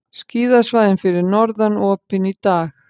Skíðasvæðin fyrir norðan opin í dag